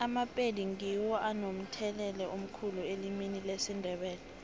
amapedi ngiwo anomthelela omkhulu elimini lesindebele